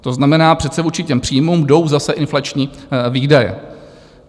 To znamená, přece vůči těm příjmům jdou zase inflační výdaje.